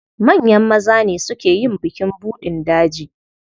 Manyan maza ne suke yin bukin buɗin daji.